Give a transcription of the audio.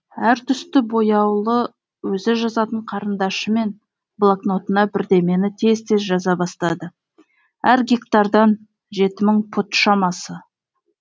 әр түсті бояулы өзі жазатын қарындашымен блокнотына бірдемені тез тез жаза бастады әр гектардан жеті мың пұт шамасы